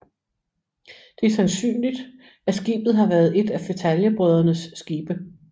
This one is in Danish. Det er sandsynligt at skibet har været et af Fetaljebrødrenes skibe